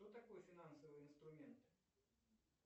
что такое финансовый инструмент